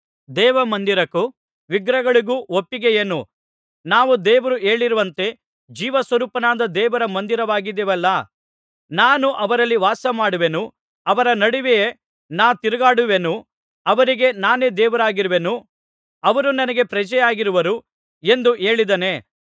ದೇವ ಮಂದಿರಕ್ಕೂ ವಿಗ್ರಹಗಳಿಗೂ ಒಪ್ಪಿಗೆಯೇನು ನಾವು ದೇವರೇ ಹೇಳಿರುವಂತೆ ಜೀವಸ್ವರೂಪನಾದ ದೇವರ ಮಂದಿರವಾಗಿದ್ದೇವಲ್ಲಾ ನಾನು ಅವರಲ್ಲಿ ವಾಸಮಾಡುವೆನು ಅವರ ನಡುವೆಯೇ ನಾ ತಿರುಗಾಡುವೆನು ಅವರಿಗೆ ನಾನೇ ದೇವರಾಗಿರುವೆನು ಅವರು ನನಗೆ ಪ್ರಜೆಯಾಗಿರುವರು ಎಂದು ಹೇಳಿದ್ದಾನೆ